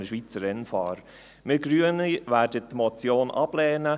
Wir Grünen werden die Motion ablehnen.